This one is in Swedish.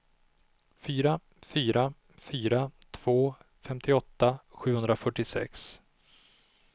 fyra fyra fyra två femtioåtta sjuhundrafyrtiosex